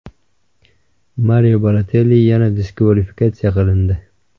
Mario Balotelli yana diskvalifikatsiya qilindi.